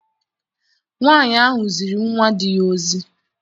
Nwaanyị ahụ ziri nwa di ya ozi.